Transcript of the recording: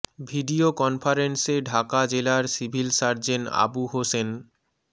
video কনফারেন্সে ঢাকা জেলার civil surgeon Abu Hossain মো